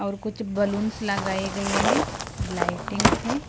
और कुछ बैलूंस लगाए गए हैं लाइटिंग से।